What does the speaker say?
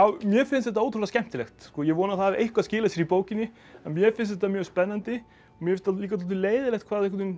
mér finnst þetta ótrúlega skemmtilegt ég vona að það hafi eitthvað skilað sér í bókinni en mér finnst þetta mjög spennandi mér finnst líka dálítið leiðinlegt hvað